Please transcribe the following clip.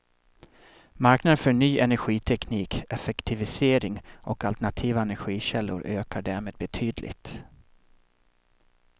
Marknaden för ny energiteknik, effektivisering och alternativa energikällor ökar därmed betydligt.